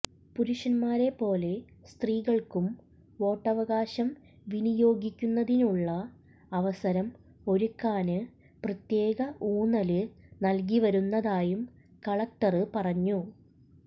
പുരുഷന്മാരെ പോലെ സ്ത്രീകള്ക്കും വോട്ടവകാശം വിനിയോഗിക്കുന്നതിനുള്ള അവസരം ഒരുക്കാന് പ്രത്യേക ഊന്നല് നല്കി വരുന്നതായും കലക്ടര് പറഞ്ഞു